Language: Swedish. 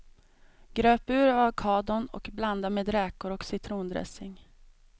Gröp ur avokadon och blanda med räkor och citrondressing.